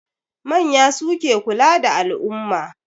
Manya suke kula da al'umma.